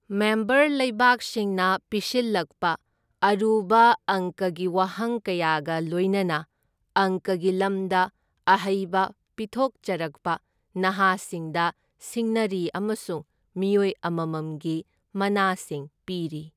Member ꯂꯩꯕꯥꯛꯁꯤꯡꯅ ꯄꯤꯁꯤꯜꯂꯛꯄ ꯑꯔꯨꯕ ꯑꯪꯀꯒꯤ ꯋꯥꯍꯪ ꯀꯌꯥꯒ ꯂꯣꯏꯅꯅ ꯑꯪꯀꯒꯤ ꯂꯝꯗ ꯑꯍꯩꯕ ꯄꯤꯊꯣꯛꯆꯔꯛꯄ ꯅꯍꯥꯁꯤꯡꯗ ꯁꯤꯡꯅꯔꯤ ꯑꯃꯁꯨꯡ ꯃꯤꯑꯣꯏ ꯑꯃꯃꯝꯒꯤ ꯃꯅꯥꯁꯤꯡ ꯄꯤꯔꯤ꯫